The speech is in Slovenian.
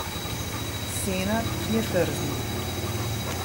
Senad je trznil.